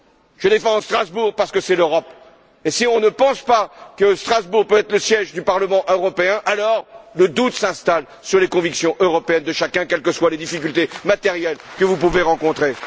Je défends Strasbourg parce que c'est l'Europe, et si on ne pense pas que Strasbourg peut être le siège du Parlement européen, alors le doute s'installe sur les convictions européennes de chacun, quelles que soient les difficultés matérielles que vous pouvez rencontrer.